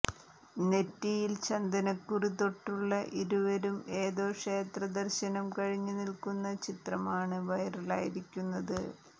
നെറ്റിയിൽ ചന്ദനക്കുറി തൊട്ടുള്ള ഇരുവരും ഏതോ ക്ഷേത്ര ദർശനം കഴിഞ്ഞ് നിൽക്കുന്ന ചിത്രമാണ് വൈറലായിരിക്കുന്നത്